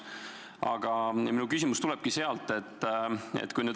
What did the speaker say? Aga minu küsimus tulebki selle kohta.